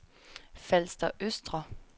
Falster Østre